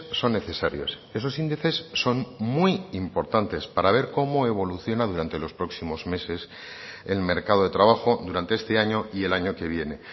son necesarios esos índices son muy importantes para ver cómo evoluciona durante los próximos meses el mercado de trabajo durante este año y el año que viene